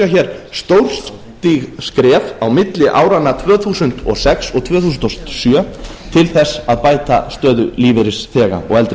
hér stórstíg skref á milli áranna tvö þúsund og sex og tvö þúsund og sjö til þess að bæta stöðu lífeyrisþega og